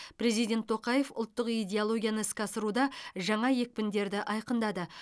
президент тоқаев ұлттық идеологияны іске асыруда жаңа екпіндерді айқындады